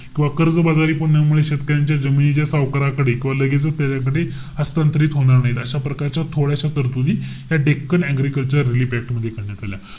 किंवा कर्जबाजारीपणामुळे शेतकऱ्यांच्या जमिनी ज्या सावकाराकडेय. किंवा लगेचच त्याच्याकडे हस्तांतरित होणार नाहीत. अशा प्रकारच्या थोड्याश्या तरतुदी ह्या डेक्कन ऍग्रीकल्चर रिलीफ ऍक्ट मध्ये करण्यात आल्या.